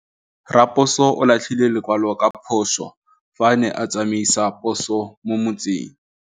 Raposo o latlhie lekwalô ka phosô fa a ne a tsamaisa poso mo motseng.